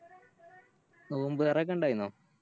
നോമ്പ് തോറോക്കെ ഇണ്ടായിന്നു